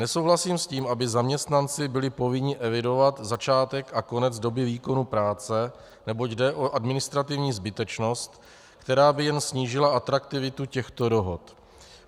Nesouhlasím s tím, aby zaměstnanci byli povinni evidovat začátek a konec doby výkonu práce, neboť jde o administrativní zbytečnost, která by jim snížila atraktivitu těchto dohod.